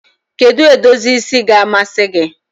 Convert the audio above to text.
Kedu edozi isi ga-amasị gị?